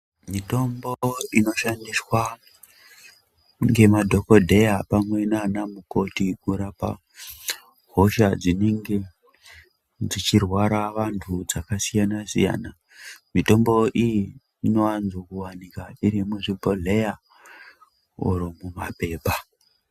Mitombo inoshandiswa ngemadhokodheya pamwe nana mukoti kurapa hosha dzinenge dzichirwara vantu dzakasiyana siyana .Mitombo iyi inowanzo kuwanikwa dziri muzvibhohleya kana mumapepa.